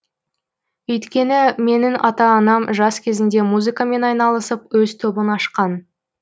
өйткені менің ата анам жас кезінде музыкамен айналысып өз тобын ашқан